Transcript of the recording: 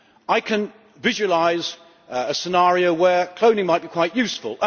I can visualize a scenario where cloning might be quite useful.